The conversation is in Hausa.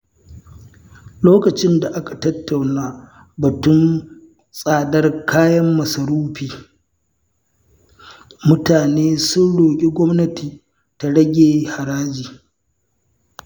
Lokacin da aka tattauna batun tsadar kayan masarufi, mutane sun roƙi gwamnati ta rage haraji.